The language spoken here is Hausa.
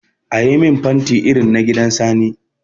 Ayi min fanti irin na gidan Sani.